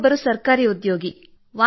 ನಾವು ಮೂವರು ಸದಸ್ಯರು ಕೇವಲ ಮಹಿಳೆಯರು